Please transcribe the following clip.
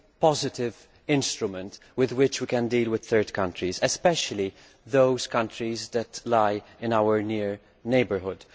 positive instrument with which to deal with third countries, especially those countries that lie in our near neighbourhood.